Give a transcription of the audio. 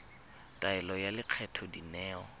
ya taelo ya lekgetho dineo